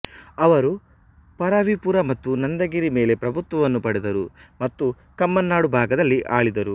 ಅವರು ಪರವಿಪುರ ಮತ್ತು ನಂದಗಿರಿ ಮೇಲೆ ಪ್ರಭುತ್ವವನ್ನು ಪಡೆದರು ಮತ್ತು ಕಮ್ಮನಾಡು ಭಾಗದಲ್ಲಿ ಆಳಿದರು